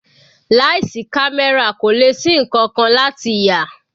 Láì sí camera kò lè ṣí nkankan láti yà.